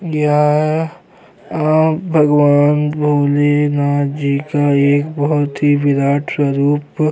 यह आ भगवान भोलेनाथ जी का एक बहुत ही विराट स्वरूप--